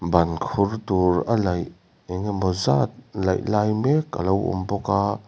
ban khur tur a laih engemawzat laih lai mek alo awm bawka a.